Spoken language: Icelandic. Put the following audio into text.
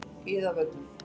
Iðavöllum